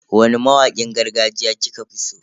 Wani mawakin gargajiya kika fi so?